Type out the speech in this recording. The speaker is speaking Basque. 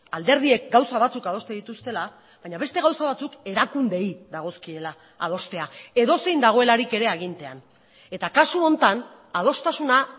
alderdiek gauza batzuk adosten dituztela baina beste gauza batzuk erakundeei dagozkiela adostea edozein dagoelarik ere agintean eta kasu honetan adostasuna